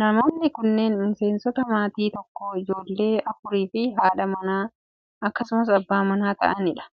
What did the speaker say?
Namoonni kunneen, miseensota maatii tokkoo, ijoollee afurii fi haadha manaa akkasumas abbaa manaa ta'anii dha.